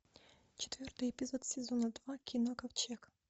четвертый эпизод сезона два кино ковчег